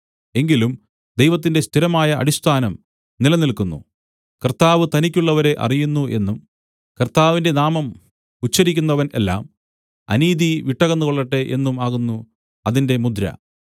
എങ്കിലും ദൈവത്തിന്റെ സ്ഥിരമായ അടിസ്ഥാനം നിലനില്ക്കുന്നു കർത്താവ് തനിക്കുള്ളവരെ അറിയുന്നു എന്നും കർത്താവിന്റെ നാമം ഉച്ചരിക്കുന്നവൻ എല്ലാം അനീതി വിട്ടകന്നുകൊള്ളട്ടെ എന്നും ആകുന്നു അതിന്റെ മുദ്ര